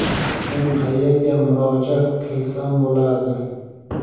Men qayerga murojaat kilsam bo‘ladi?.